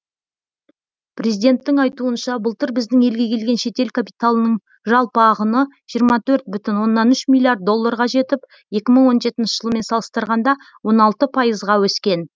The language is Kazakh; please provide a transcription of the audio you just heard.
президенттің айтуынша былтыр біздің елге келген шетел капиталының жалпы ағыны жиырма төрт бүтін оннан үш миллиард долларға жетіп екі мың он жетінші жылмен салыстырғанда он алты пайызға өскен